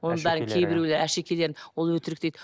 оның бәрін кейбіреулер әшекейлерін ол өтірік дейді